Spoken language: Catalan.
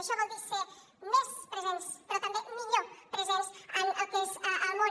això vol dir ser més presents però també millor presents en el que és el món